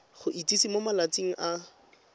go itsise mo malatsing a